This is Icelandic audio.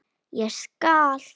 Ég skal!